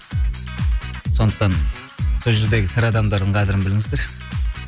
сондықтан сол жердегі тірі адамдардың қадірін біліңіздер